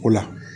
Ko la